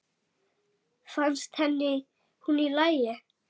Fannst henni hún í lagi?